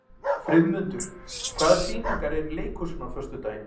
Friðmundur, hvaða sýningar eru í leikhúsinu á föstudaginn?